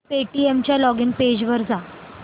Paytm च्या login page वर जा